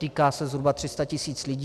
Týká se zhruba 300 tisíc lidí.